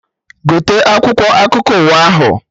Gote akwụkwọ akụkọ ụwa ahụ!